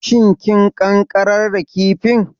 Shin kin ƙanƙarar da kifin?